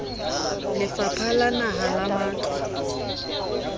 lefapha la naha la matlo